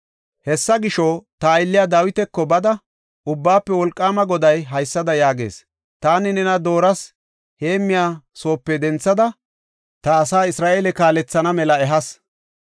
“Hessa gisho, ta aylliya Dawitako bada Ubbaafe Wolqaama Goday haysada yaagees; ‘Taani nena dorse heemmiya bessape denthada ta asaa Isra7eele kaalethana mela ehas.